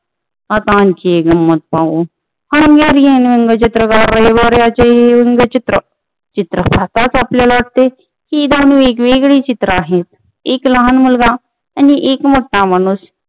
आता आणखी एक गमंत पाहू हंगेरियन रेबर व्यंगचित्र चित्र पाहताच आपल्याला वाटते की नाही ही वेगळी चित्रे आहेत एक लहान एक मोठा माणुुस